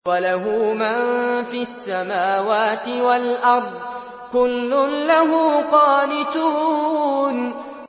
وَلَهُ مَن فِي السَّمَاوَاتِ وَالْأَرْضِ ۖ كُلٌّ لَّهُ قَانِتُونَ